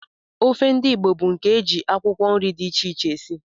Ofe ndị Igbo bụ nke e ji akwụkwọ nri dị iche iche esi